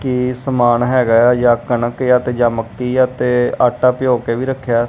ਇਹ ਸਮਾਨ ਹੈਗਾ ਆ ਯਾ ਕਣਕ ਆ ਤੇ ਯਾ ਮੱਕੀ ਆ ਤੇ ਆਟਾ ਭਿਓ ਕੇ ਵੀ ਰੱਖਿਆ।